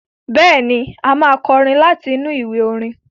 Bẹ́ẹ̀ni, a máa kọrin láti inú ìwé orin.